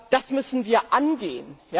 Das müssen wir angehen.